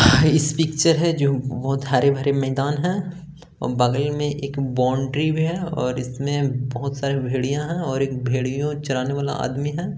इस पिक्चर है जो बहोत हरे-भरे मैदान है और बगल में एक बाउंड्री भी है और इसमें बहुत सारे भेड़िया है और एक भेड़ियो चराने वाला आदमी है।